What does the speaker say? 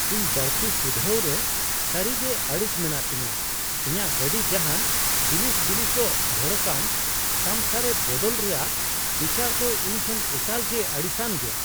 ᱤᱧ ᱵᱟᱹᱲᱛᱤ ᱥᱩᱫᱷᱨᱟᱹᱣ ᱨᱮ ᱥᱟᱹᱨᱤᱜᱮ ᱟᱹᱲᱤᱥ ᱢᱮᱱᱟᱜᱼᱟ ᱛᱤᱧᱟᱹ ᱾ ᱤᱧᱟᱹᱜ ᱜᱟᱹᱰᱤ ᱡᱟᱦᱟᱱ ᱵᱤᱞᱤᱥ ᱵᱤᱞᱤᱥᱚᱜ, ᱵᱷᱚᱲᱚᱠᱟᱱ ᱛᱟᱢᱥᱟᱨᱮ ᱵᱚᱫᱚᱞ ᱨᱮᱭᱟᱜ ᱵᱤᱪᱟᱹᱨᱫᱚ ᱤᱧ ᱴᱷᱮᱱ ᱮᱠᱟᱞ ᱜᱮ ᱟᱹᱲᱤᱥᱟᱱ ᱜᱮᱭᱟ ᱾